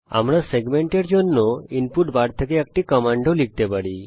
আমরা রেখাংশের জন্য ইনপুট বার থেকে একটি কমান্ড ও লিখতে পারি